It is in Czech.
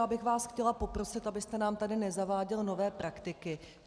Já bych vás chtěla poprosit, abyste nám tady nezaváděl nové praktiky.